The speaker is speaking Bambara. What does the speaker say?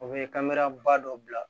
O bɛ kameraba dɔ bila